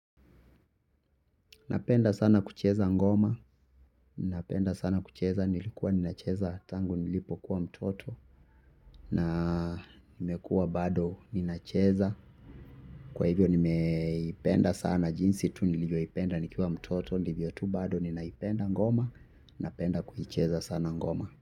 Napenda sana kucheza ngoma. Napenda sana kucheza nilikuwa ninacheza tangu nilipokuwa mtoto. Na nimekua bado ninacheza. Kwa hivyo nimeipenda sana jinsi tu nilivyoipenda nikiwa mtoto ndivyo tu bado ninaipenda ngoma. Napenda kuicheza sana ngoma.